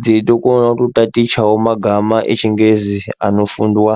dzeito kona kuto tatichawo magama echi ngezi ano fundwa.